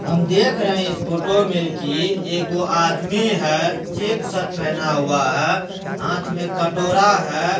हम देख रहे हैं इस फोटो में की एगो आदमी है चेक शर्ट पहना हुआ है हाथ में कटोरा है।